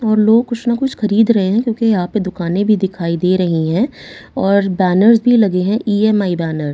और लोग कुछ न कुछ खरीद रहे है क्योंकि यहां पे दुकानें भी दिखाई दे रही हैं और बैनर्स भी लगे है इ_एम_आई बैनर ।